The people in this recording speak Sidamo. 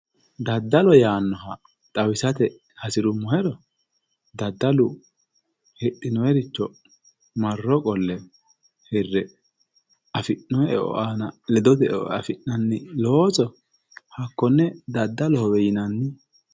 Daddalo yaanoha xawisate hasiruummohero, daddalu hidhinoniricho marro qolle hire affi'nonnihu aana ledote eo affi'nanni looso hakkone daddalohowe yinanni.